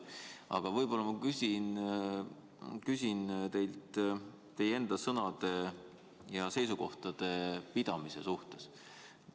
Aga ma küsin teilt teie enda sõnadest ja seisukohtadest kinnipidamise kohta.